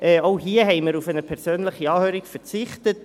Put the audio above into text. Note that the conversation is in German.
Auch hier haben wir auf eine persönliche Anhörung verzichtet.